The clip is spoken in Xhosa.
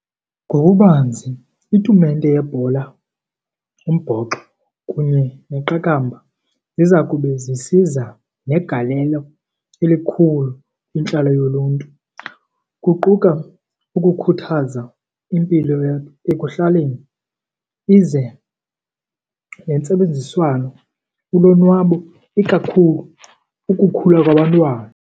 Ngokubanzi itumente yebhola, umbhoxo kunye neqakamba ziza kube zisiza negalelo elikhulu kwintlalo yoluntu. Kuquka ukukhuthaza impilo ekuhlaleni ize nentsebenziswano, ulonwabo ikakhulu ukukhula kwabantwana.